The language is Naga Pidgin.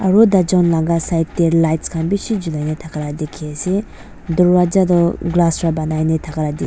Aro taijun laga side tey lights khan beshi jhulai na thaka la dekhi ase darwaja toh glass pra banai na thaka la dekhi --